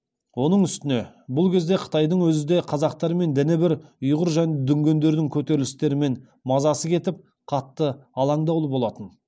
оның үстіне бұл кезде қытайдың өзі де қазақтармен діні бір ұйғыр және дүңгендердің көтерілістерінен мазасы кетіп қатты аландаулы болатын